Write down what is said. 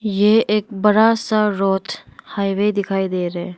यह एक बड़ा सा रोड हाईवे दिखाई दे रहा है।